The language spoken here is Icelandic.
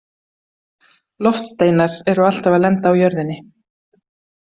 Loftsteinar eru alltaf að lenda á jörðinni..